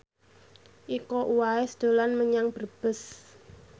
Iko Uwais dolan menyang Brebes